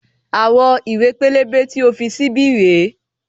Àwọn ìwé pélébé tí o fi sí bí rèé